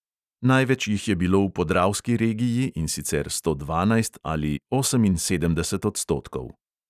Največ jih je bilo v podravski regiji, in sicer sto dvanajst ali oseminsedemdeset odstotkov.